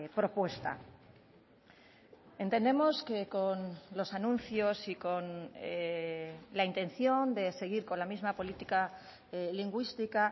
propuesta entendemos que con los anuncios y con la intención de seguir con la misma política lingüística